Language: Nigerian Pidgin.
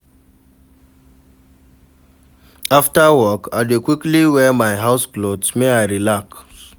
Afta work, I dey quickly wear my house clothes, make I relax.